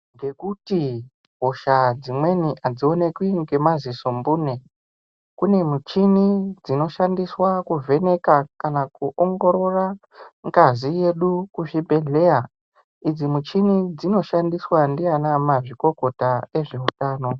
Ngekuti hosha dzimweni hadzionekwi nemadziso mbune, kune michini dzinoshandiswa kuvheneka kana kuongorora ngazi yedu kuzvibhedhleya. Idzimichini dzinoshandiswa dziana mazvikokota ezveutano.